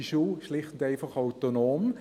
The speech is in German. – Die Schule ist schlicht und einfach autonom.